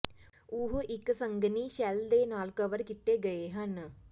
ਉਹ ਇੱਕ ਸੰਘਣੀ ਸ਼ੈੱਲ ਦੇ ਨਾਲ ਕਵਰ ਕੀਤੇ ਗਏ ਹਨ